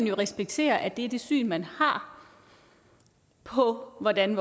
jo respektere at det er det syn man har på hvordan